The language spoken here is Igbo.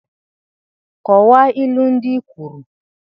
Kọwaa ilu ndị i kwuru!